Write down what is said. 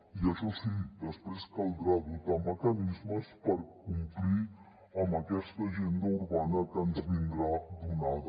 i això sí després caldrà dotar mecanismes per complir amb aquesta agenda urbana que ens vindrà donada